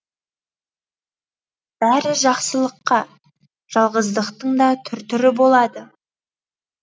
бәрі жақсылыққа жалғыздықтың да түр түрі болады